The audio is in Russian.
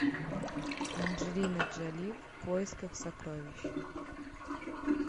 анджелина джоли в поисках сокровищ